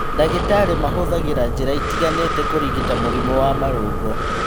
Ndagĩtarĩ mahũthagĩra njĩra itiganĩte kũrigita mũrimũ wa marũngo